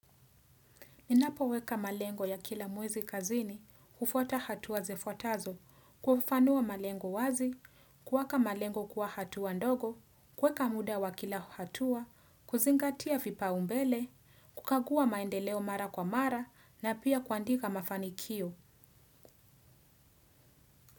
Ninapoweka malengo ya kila mwezi kazini, hufwata hatua zifuatazo, kufafanua malengo wazi, kuwaka malengo kuwa hatua ndogo, kuweka muda wa kila hatuwa, kuzingatia vipaumbele, kukagua maendeleo mara kwa mara na pia kuandika mafanikio.